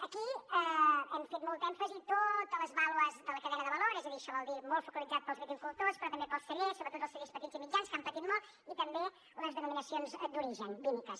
aquí hem fet molt d’èmfasi en totes les baules de la cadena de valor és a dir això vol dir molt focalitzat per als viticultors però també per als cellers sobretot els cellers petits i mitjans que han patit molt i també les denominacions d’origen vinícoles